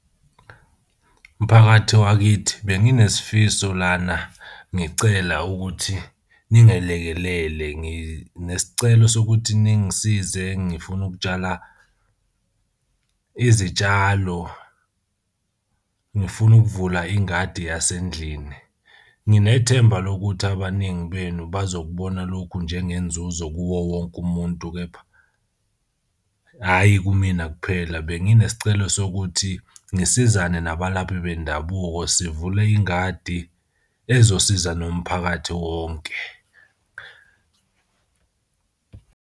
Mphakathi wakithi benginesifiso lana, ngicela ukuthi ningelekelele nginesicelo sokuthi ningisize ngifuna ukutshala izitshalo. Ngifuna ukuvula ingadi yasendlini. Nginethemba lokuthi abaningi benu bazokubona lokhu njengenzuzo kuwo wonke umuntu kepha hhayi kumina kuphela. Benginesicelo sokuthi ngisizane nabalaphi bendabuko sivule ingadi ezosiza nomphakathi wonke.